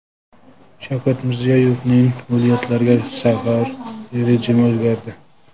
Shavkat Mirziyoyevning viloyatlarga safar rejimi o‘zgardi .